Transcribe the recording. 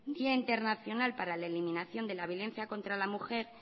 día internacional para la eliminación de la violencia contra la mujer